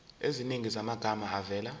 eziningi zamagama avela